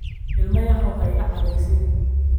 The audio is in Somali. Ilmo yahow ha iga cadhaysiin.